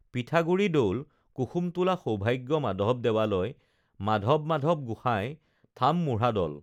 পিঠাগুৰি দৌল কুসুমটোলা সৌভাগ্য মাধৱ দেৱালয় মাধৱমাধৱ গোসাঁই থামমুঢ়াদল